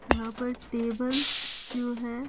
यहां पर टेबल जो है।